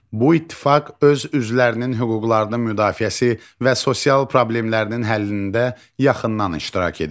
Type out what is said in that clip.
Bu ittifaq öz üzvlərinin hüquqlarının müdafiəsi və sosial problemlərinin həllində yaxından iştirak edir.